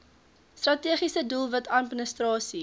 strategiese doelwit administrasie